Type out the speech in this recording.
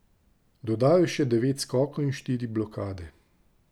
Dodal je še devet skokov in štiri blokade.